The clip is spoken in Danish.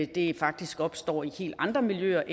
det faktisk opstår i helt andre miljøer